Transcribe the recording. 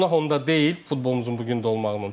Günah onda deyil futbolumuzun bu gün də olmağının.